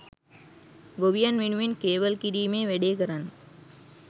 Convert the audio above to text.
ගොවියන් වෙනුවෙන් කේවල් කිරීමේ වැඩේ කරන්න